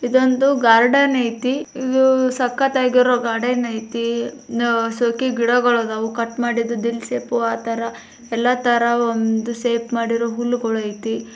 ಇದು ಒಂದು ಗಾರ್ಡನ್ ಐತಿ ಸಕ್ಕತ್ತಾಗಿರು ಒಂದು ಗಾರ್ಡನ್ ಐತೆ ಜೋಗಿ ಗಿಡಗಳು ಇದಾವೆ ದಿಲ್ ಶೇಪ್ ಅಲ್ಲಿ ಕಟ್ ಮಾಡೋರೆ ಎಲೆ ತರ ಶೇಪ್ ಮಾಡಿರೋ ಹುಲ್ಲು ಗೋಳು ಐತಿ.